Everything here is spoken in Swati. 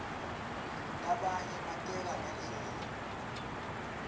labanye bateka ngendlela